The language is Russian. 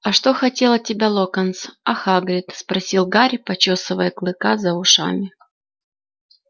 а что хотел от тебя локонс а хагрид спросил гарри почёсывая клыка за ушами